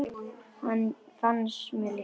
Það fannst mér líka.